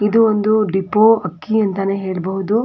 ಇದು ಒಂದು ಡಿಪೋ ಅಕ್ಕಿಯಂತಾನೇ ಹೇಳಬಹುದು.